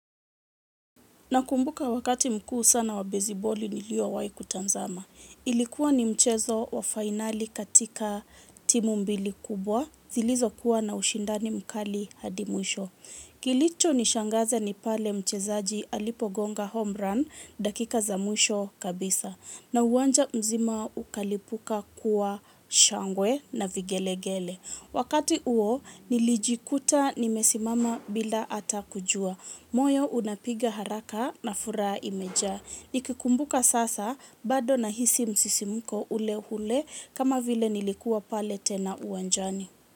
Nakumbuka wakati mkuu sana wa beziboli nilio wai kutanzama. Ilikuwa ni mchezo wa finali katika timu mbili kubwa, zilizo kuwa na ushindani mkali hadi mwisho. Kilicho nishangaza ni pale mchezaji alipo gonga home run dakika za mwisho kabisa. Na uwanja mzima ukalipuka kwa shangwe na vigelegele. Wakati uo nilijikuta nimesimama bila ata kujua. Moyo unapiga haraka na furaa imejaa. Nikikumbuka sasa bado nahisi msisimuko ule hule kama vile nilikuwa pale tena uanjani.